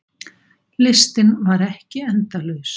Listinn var ekki endalaus.